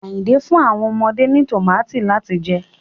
Ayinke n fun awọn ọmọde ni tomati lati jẹ